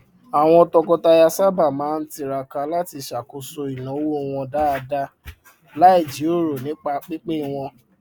àwọn tọkọtaya sábà máa ń tiraka láti ṣàkóso ináwó wọn dáadáa láì jiròrò nípa pínpín owó